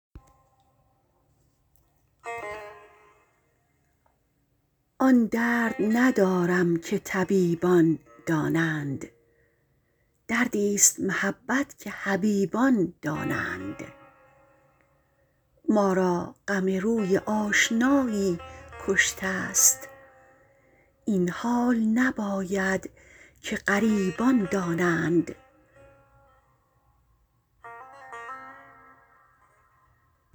آن درد ندارم که طبیبان دانند دردیست محبت که حبیبان دانند ما را غم روی آشنایی کشتست این حال نباید که غریبان دانند